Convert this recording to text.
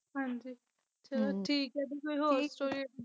ਹਾਂਜੀ ਚਲੋ ਠੀਕ ਆ ਦੀ ਕੋਈ ਹੋਰ story ਹੋਈ